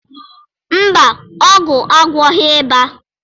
mba, ọgwụ agwọghị ịba.